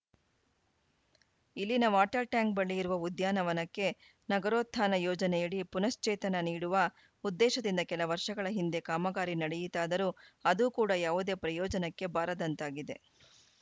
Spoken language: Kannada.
ಇಲ್ಲಿನ ವಾಟರ್‌ ಟ್ಯಾಂಕ್‌ ಬಳಿ ಇರುವ ಉದ್ಯಾನವನಕ್ಕೆ ನಗರೋತ್ಥಾನ ಯೋಜನೆಯಡಿ ಪುನಃಶ್ಚೇತನ ನೀಡುವ ಉದ್ದೇಶದಿಂದ ಕೆಲ ವರ್ಷಗಳ ಹಿಂದೆ ಕಾಮಗಾರಿ ನಡೆಯಿತಾದರೂ ಅದೂ ಕೂಡಾ ಯಾವುದೇ ಪ್ರಯೋಜನಕ್ಕೆ ಬಾರದಂತಾಗಿದೆ